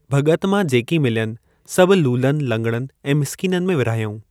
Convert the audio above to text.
भॻत मां जेकी मिल्यनि सभु लूलनि, लंगडनि ऐं मिस्कीननि में विरहायाऊं।